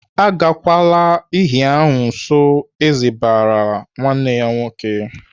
"Agakwala iyi ahụ nso!" Eze barala nwanne ya nwoke.